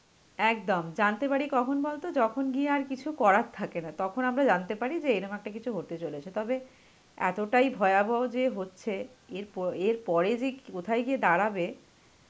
একদম. জানতে পারি কখন বলতো, যখন গিয়ে আর কিছু করার থাকে না. তখন আমরা জানতে পারি যে এরকম একটা কিছু হতে চলেছে. তবে এতটাই ভয়াবহ যে হচ্ছে এরপ~ এরপরে যে ক~ কোথায় গিয়ে দাঁড়াবে,